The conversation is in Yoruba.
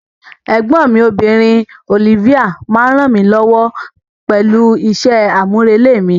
Ẹ̀gbọ́n mi obìnrin, Olivia, máa ń ràn mí lọ́wọ́ pẹ̀lú iṣẹ́ àmúrelé mi.